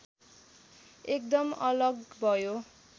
एकदम अलग भयो